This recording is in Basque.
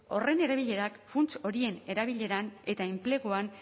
horren erabilerak funts horien erabileran eta enpleguan